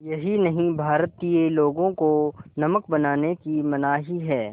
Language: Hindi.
यही नहीं भारतीय लोगों को नमक बनाने की मनाही है